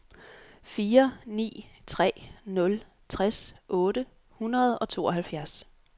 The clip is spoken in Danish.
fire ni tre nul tres otte hundrede og tooghalvfjerds